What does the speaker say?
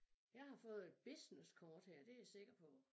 Jeg har fået et businesskort her det jeg sikker på